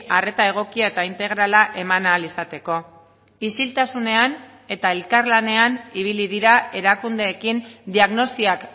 arreta egokia eta integrala eman ahal izateko isiltasunean eta elkarlanean ibili dira erakundeekin diagnosiak